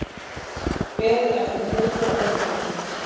Beðið eftir niðurstöðu dómstólsins